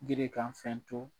Gerekan fɛn tɔ